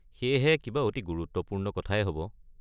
সেয়েহে, কিবা অতি গুৰুত্বপূৰ্ণ কথায়ে হ'ব।